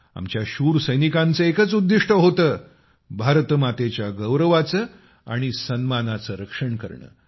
आमच्या शूर सैनिकांचे एकच उद्दिष्ट होते भारत मातेच्या गौरवाचे आणि सन्मानाचे रक्षण करणे